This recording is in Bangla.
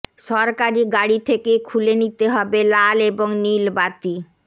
সরকারি গাড়ি থেকে খুলে নিতে হবে লাল এবং নীলবাতি